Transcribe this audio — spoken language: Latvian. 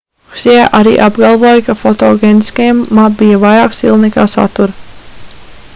hsjē arī apgalvoja ka fotogēniskajam ma bija vairāk stila nekā satura